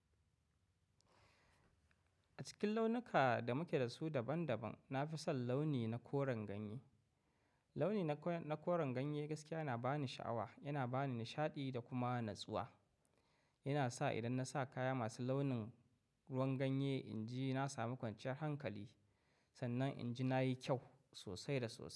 A cikin launuka da muke da su daban daban, na fi son launi na koren ganye. Launi na koren ganye gaskiya yana ba ni sha'awa, yana ba ni nishaɗi da kuma natsuwa. Yana sa idan na sa kaya masu launin ruwan ganye inji na sami kwanciyar hankali, sannan inji na yi kyau sosai da sosai.